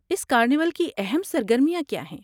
اس carnival کی اہم سرگرمیاں کیا ہیں؟